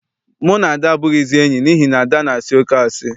Mụ na Ada abụghịzi enyi n'ihi na Ada na-asị oké asị.